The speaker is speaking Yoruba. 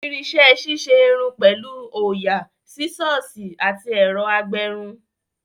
Irinṣẹ́ ṣíṣe irun pẹ̀lú òyà, Sísọ̀sì àti ẹ̀rọ agbẹrun